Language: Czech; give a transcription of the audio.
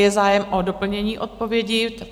Je zájem o doplnění odpovědi?